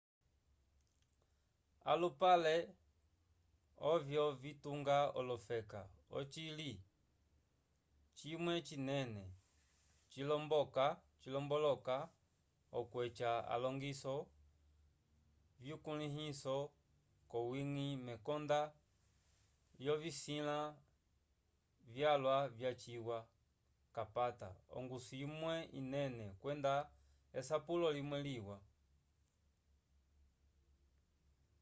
alupale ovyo vitunga olofeka ocisila cimwe cinene cilomboloka okweca alongiso vyukulĩhiso k'owiñgi mekonda lyovisila vyalwa vyaciwa k'apata ongusu imwe inene kwenda esapulo limwe liwa